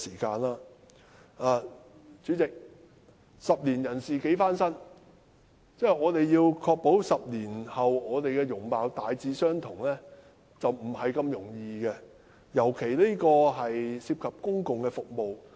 代理主席，"十年人事幾番新"，我們要確保自己的容貌在10年後大致相同，並不容易，更遑論司機證涉及公共服務。